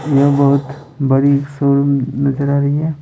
यह बहुत बड़ी शोरूम नजर आ रही है।